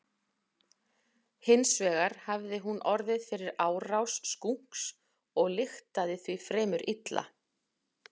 Hins vegar hafði hún orðið fyrir árás skunks og lyktaði því fremur illa.